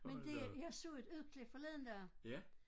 Men det jeg så et udklip forleden dag